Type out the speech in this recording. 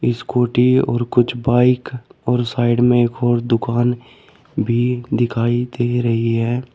Scooty और कुछ bike और साइड में एक और दुकान भी दिखाई दे रही है।